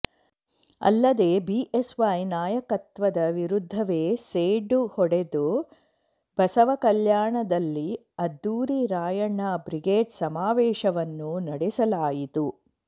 ಅಲ್ಲದೆ ಬಿಎಸ್ವೈ ನಾಯಕತ್ವದ ವಿರುದ್ಧವೇ ಸೆಡ್ಡು ಹೊಡೆದು ಬಸವ ಕಲ್ಯಾಣದಲ್ಲಿ ಅದ್ಧೂರಿ ರಾಯಣ್ಣ ಬ್ರಿಗೇಡ್ ಸಮಾವೇಶವನ್ನು ನಡೆಸಲಾಯಿತು